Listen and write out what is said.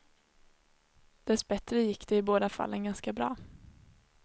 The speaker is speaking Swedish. Dessbättre gick det i båda fallen ganska bra.